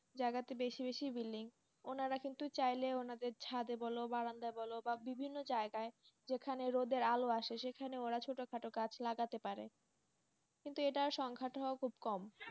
জায়গাতে বেশি বেশি building উনারা কিন্তু চাইলেই ওনাদের ছাদে বল বারান্দায় বল বা বিভিন্ন জায়গায় যেখানে রোদের আলো আসে সেখানে উনারা ছোটখাটো গাছ লাগাতে পারে, কিন্তু এটা সংখ্যাটাও খুব কম,